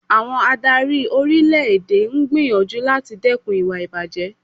Àwọn adárí orílẹ̀ èdè ń gbìyànjú láti dẹkùn ìwà ìbàjé.